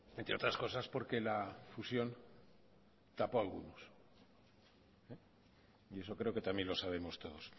entre otras cosas porque la fusión tapó algunos y eso creo que también lo sabemos todos